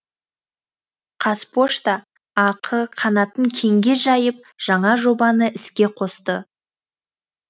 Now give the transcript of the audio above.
қазпошта ақ қанатын кеңге жайып жаңа жобаны іске қосты